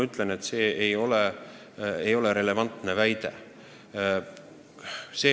See ei ole relevantne väide.